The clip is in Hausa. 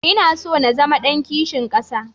Ina so na zama ɗan kishin ƙasa.